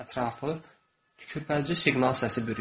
Ətrafı tükürpədici siqnal səsi bürüyür.